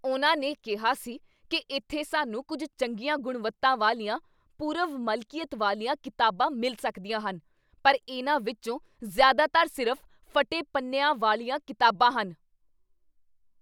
ਉਹਨਾਂ ਨੇ ਕਿਹਾ ਸੀ ਕੀ ਇੱਥੇ ਸਾਨੂੰ ਕੁੱਝ ਚੰਗੀਆਂ ਗੁਣਵੱਤਾ ਵਾਲੀਆਂ ਪੂਰਵ ਮਲਕੀਅਤ ਵਾਲੀਆਂ ਕਿਤਾਬਾਂ ਮਿਲ ਸਕਦੀਆਂ ਹਨ ਪਰ ਇਹਨਾਂ ਵਿੱਚੋਂ ਜ਼ਿਆਦਾਤਰ ਸਿਰਫ਼ ਫੱਟੇ ਪੰਨਿਆਂ ਵਾਲੀਆਂ ਕਿਤਾਬਾਂ ਹਨ